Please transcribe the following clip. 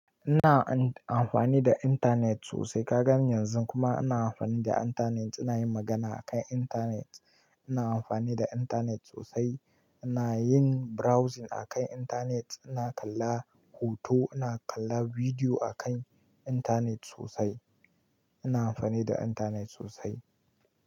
Ina amfani da internet sosai. Ka gane yanzun kuma ina amfani da internet, ina yin magana akan internet. Ina amfani da internet sosai. Ina yin browsing akan internet, ina kalla hoto, ina kalla bidiyo akan internet sosai. Ina amfani da internet sosai.